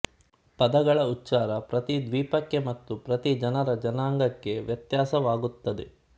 ಪದಗಳ ಉಚ್ಚಾರ ಪ್ರತಿ ದ್ವೀಪಕ್ಕೆ ಮತ್ತು ಪ್ರತಿ ಜನರ ಜನಾಂಗಕ್ಕೆ ವ್ಯತ್ಯಾಸವಾಗುತ್ತದೆ